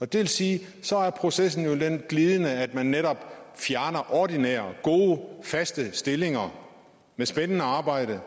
det vil sige at så er processen jo glidende ved at man netop fjerner ordinære gode faste stillinger med spændende arbejde